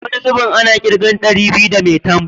Wani zubin ana ƙirgen ɗari biyu da maitan.